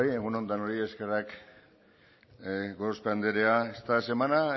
egun on denoi eskerrak gorospe anderea esta semana